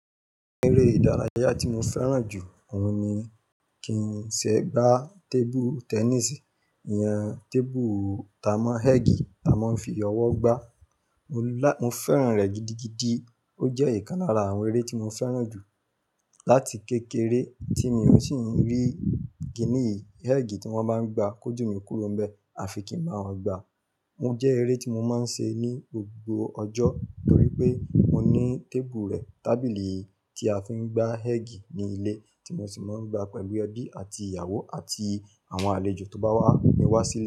Eré ìdárayá tí mo fẹ́ràn jù, òun ni kín ṣe gbá table tennis, ìyẹn table tamọ́ ẹ́ẹ̀gì tí a máa ń fi ọwọ́ gbá. Mo fẹ́ràn rẹ̀ gidigidi, ó jẹ́ ìkan lára àwọn eré tí mo fẹ́ràn jù láti kékeré tí mi ò sì ń rí kínìyì ẹ́ẹ̀gì tí wọ́n bá ń gbá kó jù mí kúrò ń bẹ àfi kí ń bá wọn gbá. Ó jẹ́ eré tí mo máa ń ṣe ní gbogbo ọjọ́ torí pé mo ní table rẹ̀, tábìlì tí a fi ń gbá ẹ́ẹ̀gì ní ilé tí mo sì máa ń gbá pẹ̀lú ẹbí àti ìyàwó àti àwọn àlejò tó bá wá mi wá sí.